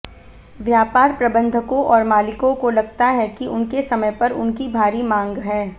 व्यापार प्रबंधकों और मालिकों को लगता है कि उनके समय पर उनकी भारी मांग है